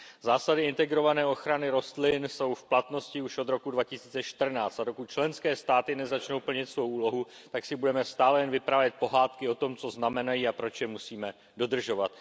Zásady integrované ochrany rostlin jsou v platnosti už od roku 2014, dokud však členské státy nezačnou plnit svou úlohu, tak si budeme stále jen vyprávět pohádky o tom, co znamenají a proč je musíme dodržovat.